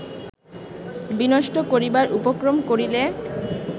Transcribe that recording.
বিনষ্ট করিবার উপক্রম করিলে